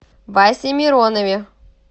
васе миронове